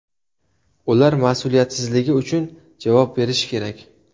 Ular mas’uliyatsizligi uchun javob berishi kerak.